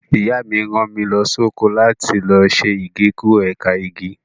Ìyá mi rán mi lọ sóko láti lọ ṣe Igékúrò ẹ̀ka igi.